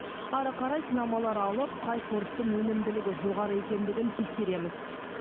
ары қарай сынамалар алып қай сорттың өнімділігі жоғары екендігін тексереміз